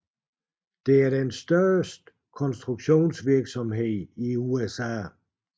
Det er den største konstruktionsvirksomhed i USA